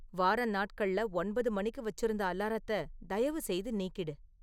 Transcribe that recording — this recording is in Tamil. வார நாட்கள்ல ஒன்பது மணிக்கு வச்சிருந்த அலாரத்தை தயவுசெய்து நீக்கிடு